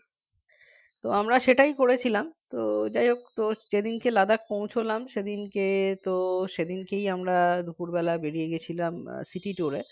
তো আমরা সেটাই করেছিলাম তো যাই হোক তো সেদিনকে Ladakh পৌঁছলাম সেদিনকে তো সেদিনকেই আমরা দুপুরবেলা বেরিয়ে গিয়েছিলাম city tour এ